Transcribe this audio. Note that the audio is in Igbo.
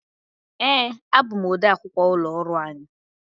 Ee, abụ m ọde akwụkwọ ụlọ ọrụ anyị.